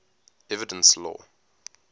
evidence law